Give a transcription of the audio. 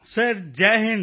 sir Jai Hind